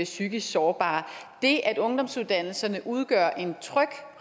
psykisk sårbare det at ungdomsuddannelserne udgør en tryg